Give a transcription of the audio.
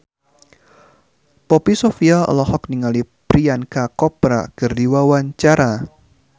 Poppy Sovia olohok ningali Priyanka Chopra keur diwawancara